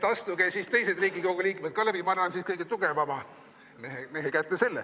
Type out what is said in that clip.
Astuge siis teised Riigikogu liikmed ka läbi, ma annan selle kõige tugevama mehe kätte.